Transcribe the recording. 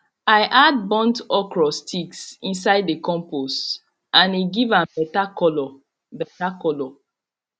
i add burnt okra sticks inside the compost and e give am better colour better colour